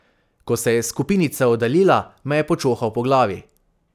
Ko se je skupinica oddaljila, me je počohal po glavi.